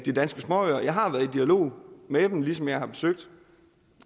af danske småøer jeg har været i dialog med dem ligesom jeg har forsøgt